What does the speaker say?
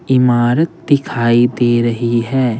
इमारत दिखाई दे रही है।